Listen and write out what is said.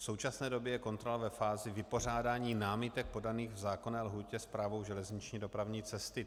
V současné době je kontrola ve fázi vypořádání námitek podaných v zákonné lhůtě Správou železniční dopravní cesty.